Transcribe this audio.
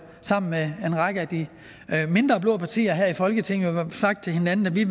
sammen med en række af de mindre blå partier her i folketinget sagt til hinanden at vi